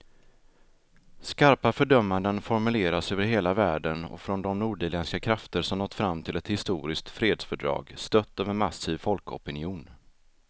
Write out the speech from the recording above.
Skarpa fördömanden formuleras över hela världen och från de nordirländska krafter som nått fram till ett historiskt fredsfördrag, stött av en massiv folkopinion.